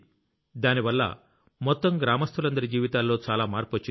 దానివల్ల మొత్తం గ్రామస్తులందరి జీవితాల్లో చాలా మార్పొచ్చింది